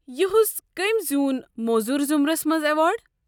یُہُس کٔمۍ زیوٗن موزوٗر ضُمرس منٛز ایوارڈ؟